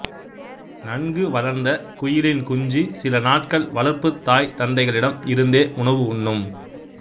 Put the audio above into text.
நன்கு வளர்ந்த குயிலின் குஞ்சு சில நாட்கள் வளர்ப்புத் தாய் தந்தைகளிடம் இருந்தே உணவு உண்ணும்